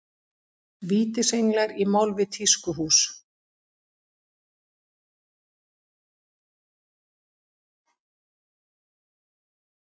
Vítisenglar í mál við tískuhús